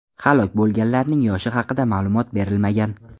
Halok bo‘lganlarning yoshi haqida ma’lumot berilmagan.